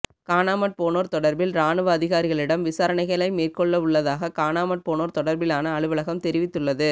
காணாமற்போனோர் தொடர்பில் இராணுவ அதிகாரிகளிடம் விசாரணைகளை மேற்கொள்ளவுள்ளதாக காணாமற்போனோர் தொடர்பிலான அலுவலகம் தெரிவித்துள்ளது